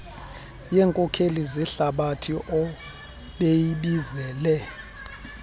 yeenkokeli zehlabathi obeyibizile